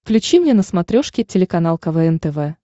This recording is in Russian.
включи мне на смотрешке телеканал квн тв